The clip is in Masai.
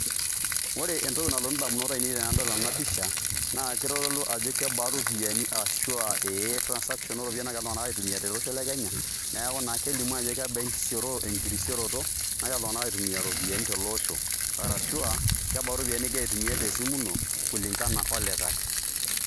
Ore entoki nalotu ndamunot ainei tenadol ena pisha naa kitodolu ajo kebaa ropiani ashu a ee transaction o ropiani naagira iltung'anak aitumia tele osho le Kenya, neeku naa kelimu ajo kebaa enkirisioroto nagira iltung'anak aitumia iropiani tele osho. Arashu a kebaa ropiani ning'ira aitumia te simu ino kulingana olikai.